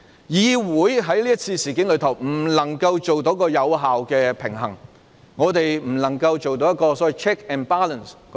議會在這次事件中未能發揮有效平衡，我們未能做到 check and balance。